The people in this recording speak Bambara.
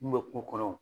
Mun bɛ kungo kɔnɔ